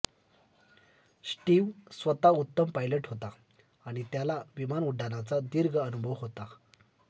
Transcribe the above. Steve स्वतः उत्तम pilot होता आणि त्याला विमान उड्डाणाचा दीर्घ अनुभव होता